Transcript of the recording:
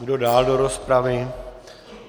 Kdo dál do rozpravy?